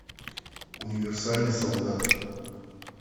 универсальный солдат